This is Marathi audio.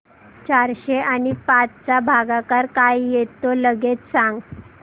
चारशे आणि पाच चा भागाकार काय येतो लगेच सांग